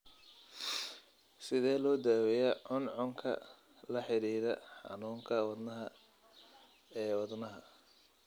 Sidee loo daweeyaa cuncunka la xidhiidha xanuunka wadnaha ee wadnaha?